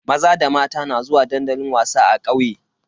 Maza da mata na zuwa dandali wasa a kauye.